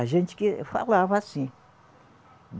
A gente que falava assim.